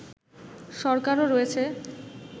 সরকারও রয়েছে